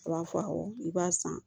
A b'a fɔ awɔ i b'a san